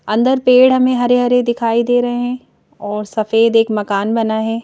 अंदर पेड़ हमें हरे हरे दिखाई दे रहे हैं और सफेद एक मकान बना है।